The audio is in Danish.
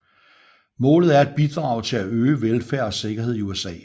Målet er at bidrage til at øge velfærd og sikkerhed i USA